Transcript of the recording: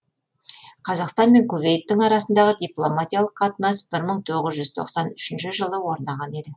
қазақстан мен кувейттің арасындағы дипломатиялық қатынас бір мың тоғыз жүз тоқсан үшінші жылы орнаған еді